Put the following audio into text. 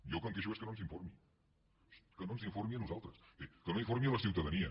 jo del que em queixo és que no ens informi que no ens informi a nosaltres bé que no informi la ciutadania